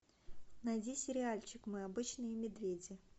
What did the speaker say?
найди сериальчик мы обычные медведи